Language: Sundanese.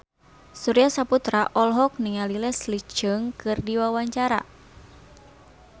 Surya Saputra olohok ningali Leslie Cheung keur diwawancara